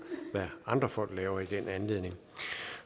hvad andre folk lever i den anledning